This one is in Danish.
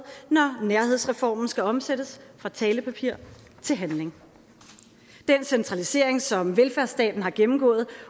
når nærhedsreformen skal omsættes fra talepapir til handling den centralisering som velfærdsstaten har gennemgået